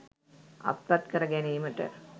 අත්පත් කර ගැනීමට